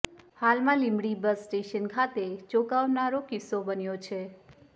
હાલમાં Limbdi bus station ખાતે ચોંકાવનારો કિસ્સો બન્યો છે